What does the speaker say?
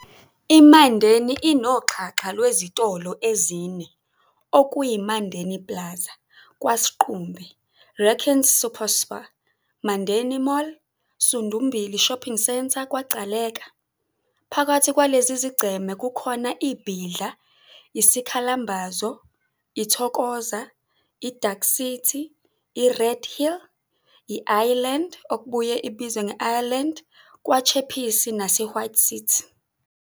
IMandeni inoxhaxha lwezitolo ezine, okuyiMandeni Plaza, KwaSiqumbe, Renckens' SuperSpar, Mandeni Mall, Sundumbili Shopping Centre, KwaGcaleka. Phakathi kwalezi zigceme kukhona iBhidla, iSikhalambazo, iThokoza, iDark City, iRed Hill, i-Island, okubuye kuthiwe yi-Ireland, kwaChappies naseWhite City.